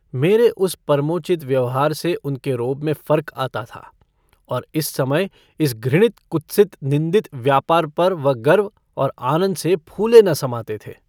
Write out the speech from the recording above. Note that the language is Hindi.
मेरे उस परमोचित व्यवहार से उनके रोब में फर्क आता था और इस समय इस घृणित कुत्सित निन्दित व्यापार पर वह गर्व और आनन्द से फूले न समाते थे।